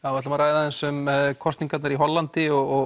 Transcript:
ætlum að ræða aðeins um kosningarnar í Hollandi og